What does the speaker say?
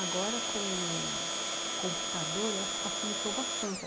Agora com o computador, eu acho que facilitou bastante.